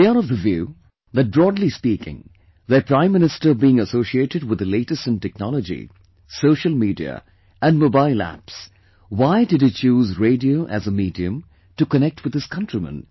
They are of the view that broadly speaking, their Prime Minister being associated with the latest in technology, Social Media and Mobile Apps; WHY did he choose radio as a medium to connect with his countrymen